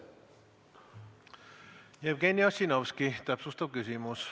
Jevgeni Ossinovski, täpsustav küsimus.